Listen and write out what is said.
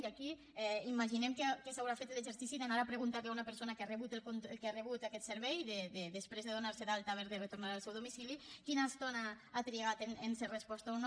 i aquí imaginem que es deu haver fet l’exercici d’anar a preguntar li a una persona que ha rebut aquest servei després de donar se d’alta haver de retornar al seu domicili quina estona ha trigat a ser resposta o no